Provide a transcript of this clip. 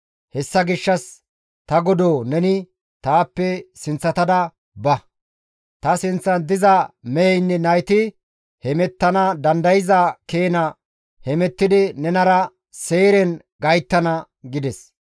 Hessa gishshas ta godoo neni taappe sinththatada ba; ta sinththan diza meheynne nayti hemettana dandayza keena hemettidi nenara Seyren gayttana» gides.